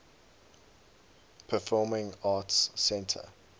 performing arts center